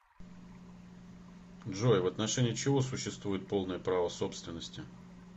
джой в отношении чего существует полное право собственности